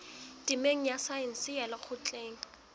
temeng ya saense ya lekgotleng